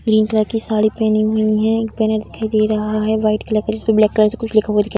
green colour की साड़ी पेहनी हुई है एक बैनर दे रहा है वाइट कलर जिसमें ब्लैक से कुछ लिखा हुआ दिखाई दे --